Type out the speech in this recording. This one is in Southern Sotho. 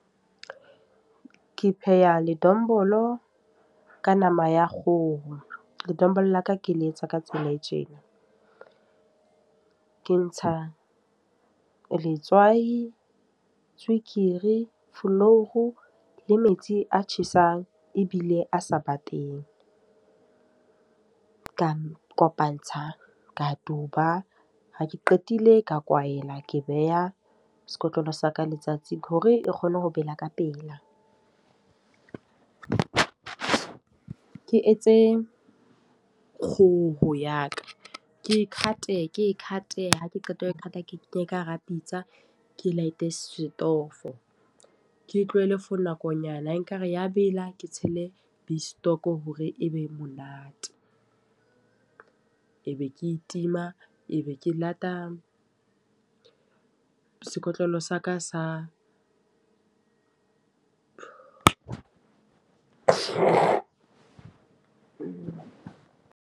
Ke pheha ledombolo, ka nama ya kgoho. Ledombolo la ka ke le etswa ka tsela e tjena, ke ntsha letswai, tswekere, flour, le metsi a tjhesang, ebile a sa bateng. Ka kopantsha ka duba. Ha ke qetile ka kwaela ke beha sekotlolo sa ka letsatsi hore e kgone ho bela ka pela. Ke etse kgoho ya ka, ke e cut-e, ke d cut-e ha ke qeta ho e cut ke kenye ka hara Pitsa, ke light e setofo. Ke tlohelle for nakonyana e ka re ya bela. Ke tshele beef stock hore e be monate, e be ke tima, Ebe ke lata sekotlolo sa ka sa .